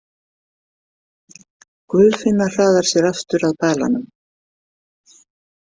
Guðfinna hraðar sér aftur að balanum.